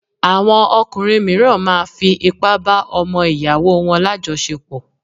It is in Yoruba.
Àwọn ọkùnrin mìíràn máa fi ipá bá ọmọ ìyàwó wọn lájọsepọ̀